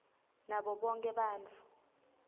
nabo bonkhe bantfu